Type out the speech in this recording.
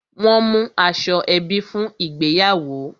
Won mú aṣọ ebi fún ìgbéyàwó